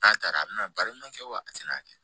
N'a taara a bina baara ɲuman kɛ wa a tɛna kɛ